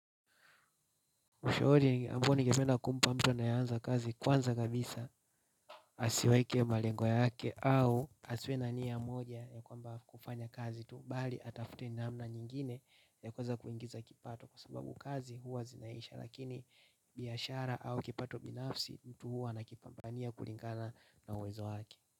Ushauri ambao ningependa kumpa mtu anayeanza kazi kwanza kabisa asiweke malengo yake au asiwe na nia moja ya kwamba kufanya kazi tu bali atafute namna nyingine yakuweza kuingiza kipato sababu kazi huwa zinaisha lakini biashara au kipato binafsi huwa anakipambania kulingana na uwezo wake.